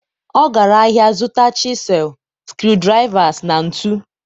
ọ gara ahịa zụta chisel, screwdrivers na ntu.